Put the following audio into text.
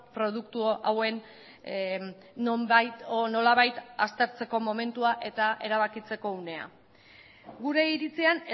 produktu hauen nonbait edo nolabait aztertzeko momentua eta erabakitzeko unea gure iritzian